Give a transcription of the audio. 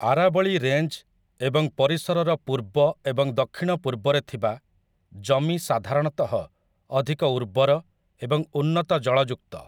ଆରାବଳୀ range ଏବଂ ପରିସରର ପୂର୍ବ ଏବଂ ଦକ୍ଷିଣ ପୂର୍ବରେ ଥିବା ଜମିସାଧାରଣତଃ ଅଧିକ ଉର୍ବର ଏବଂ ଉନ୍ନତ ଜଳଯୁକ୍ତ ।